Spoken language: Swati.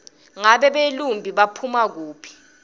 ngabe belumbi baphuma kuphi